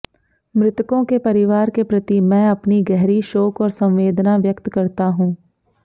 मृतकों के परिवार के प्रति मैं अपनी गहरी शोक और संवेदना व्यक्त करता हूं